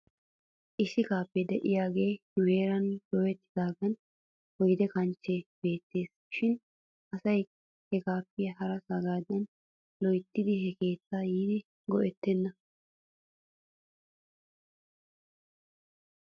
Issi kaafee de'iyaagee nu heeran dooyettidaagan oyde kanchchee beettes shin asay he kaapiyan harasaagaadan loyttidi he keettaa yiidi go'ettenee ?